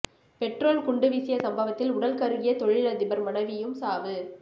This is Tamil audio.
பெட்ரோல் குண்டு வீசிய சம்பவத்தில் உடல் கருகிய தொழிலதிபர் மனைவியும் சாவு